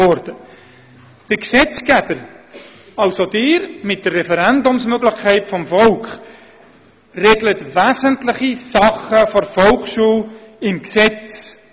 Der Gesetzgeber, also Sie, mit der Referendumsmöglichkeit des Volkes regeln wesentliche Belange der Volksschule im Gesetz: